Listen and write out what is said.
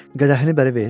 Qədəhini bəri ver!